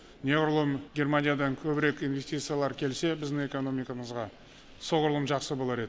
неғұрлым германиядан көбірек инвестициялар келсе біздің экономикамызға соғұрлым жақсы болар еді